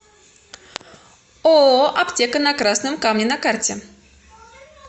ооо аптека на красном камне на карте